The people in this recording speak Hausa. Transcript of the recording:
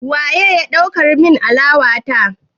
Waye ya ɗaukar min alawa ta?